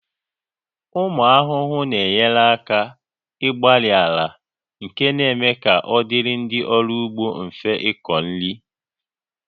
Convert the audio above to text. Ụmụ ahụhụ na-enye aka gbarie ala nke na-eme ka ọ dịrị ndị ọrụ ugbo mfe ịkọ nri